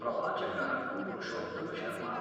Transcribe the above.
प्रवाचकः पुरुषोत्तमशर्मा